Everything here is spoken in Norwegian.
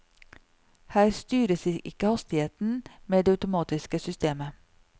Her styres ikke hastigheten med det automatiske systemet.